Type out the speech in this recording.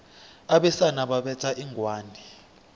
abesana babetha inghwani